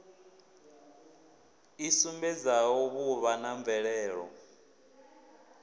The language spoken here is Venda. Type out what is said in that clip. i sumbedzaho vhuvha na mvelelo